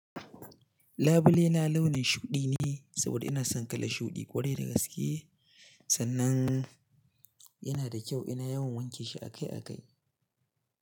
Labule na launin shuɗi ne saboda ina son kalan shuɗi ƙwarai da gaske. Sannan yana da kyau ina yawan wanke shi akai akai.